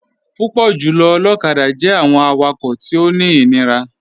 Púpọ̀ jùlọ̀ olokada jẹ̀ àwọn àwàkọ̀ tí ó ní inírà.